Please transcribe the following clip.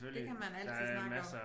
Det kan man altid snakke om